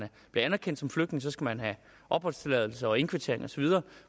bliver anerkendt som flygtning skal man have opholdstilladelse og indkvartering og så videre